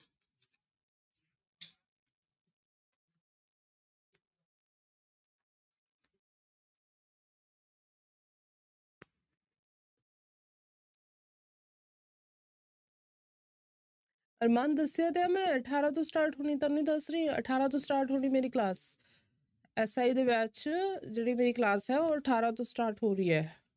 ਅਰਮਾਨ ਦੱਸਿਆ ਤਾਂ ਹੈ ਮੈਂ ਅਠਾਰਾਂ ਤੋਂ start ਹੋਣੀ ਤੁਹਾਨੂੰ ਦੱਸ ਰਹੀ ਹਾਂ ਅਠਾਰਾਂ ਤੋਂ start ਹੋਣੀ ਮੇਰੀ class SI ਦੇ batch ਚ ਜਿਹੜੀ ਮੇਰੀ class ਹੈ ਉਹ ਅਠਾਰਾਂ ਤੋਂ start ਹੋ ਰਹੀ ਹੈ।